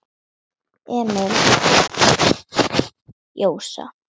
Emil stansaði og horfði á Jósa.